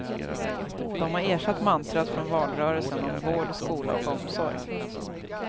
De har ersatt mantrat från valrörelsen om vård, skola och omsorg.